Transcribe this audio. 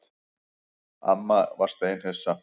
Amma var steinhissa.